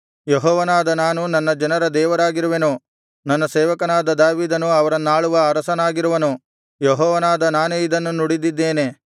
ಯೆಹೋವನಾದ ನಾನು ನನ್ನ ಜನರ ದೇವರಾಗಿರುವೆನು ನನ್ನ ಸೇವಕನಾದ ದಾವೀದನು ಅವರನ್ನಾಳುವ ಅರಸನಾಗಿರುವನು ಯೆಹೋವನಾದ ನಾನೇ ಇದನ್ನು ನುಡಿದಿದ್ದೇನೆ